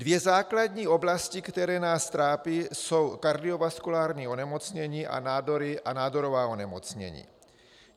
Dvě základní oblasti, které nás trápí, jsou kardiovaskulární onemocnění a nádorová onemocnění.